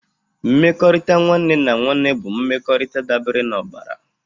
Mmekọrịta nwanne na nwanne bụ mmekọrịta dabere n'ọbara.